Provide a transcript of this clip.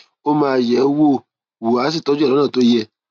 ó máa yẹ ọ wò wò á sì tọjú ẹ lọnà tó yẹ